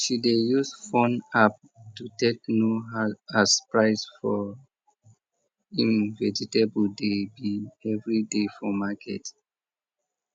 she dey use phone app to take know as price for im vegetable dey be everyday for market